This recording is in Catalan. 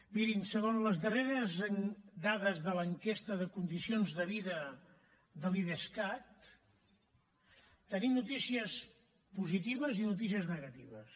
mirin segons les darreres dades de l’enquesta de condicions de vida de l’idescat tenim noticies positives i noticies negatives